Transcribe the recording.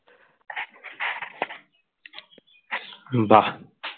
বাহ